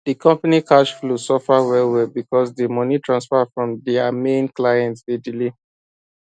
di company cash flow suffer wellwell because di money transfer from dia main client dey delay